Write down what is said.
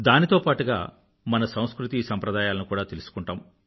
దానితో పాటుగా మన సంస్కృతి సంప్రదాయాలను కూడా తెలుసుకుంటాం